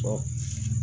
Ɔ